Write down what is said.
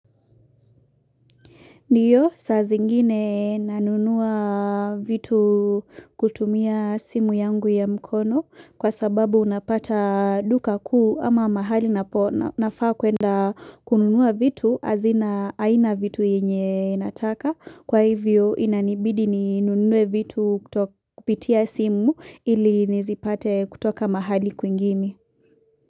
Ndiyo, saa zingine nanunua vitu kutumia simu yangu ya mkono kwa sababu unapata duka kuu ama mahali nafaa kwenda kununua vitu azina aina vitu inye nataka. Kwa hivyo inanibidi ninunue vitu kupitia simu ili nizipate kutoka mahali kuingine.